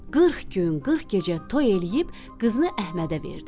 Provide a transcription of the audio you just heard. Qırx gün, qırx gecə toy eləyib qızını Əhmədə verdi.